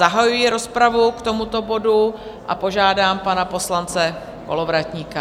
Zahajuji rozpravu k tomuto bodu a požádám pana poslance Kolovratníka.